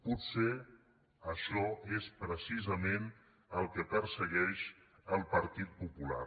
potser això és precisament el que persegueix el partit popular